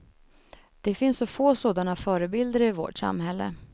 Det finns så få sådana förebilder i vårt samhälle.